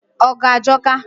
ọgụ ajọka.